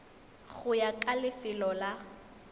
go ya ka lefelo la